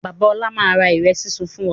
Bàbá ọlá máa ra ìrẹ̀ súnsun fún wa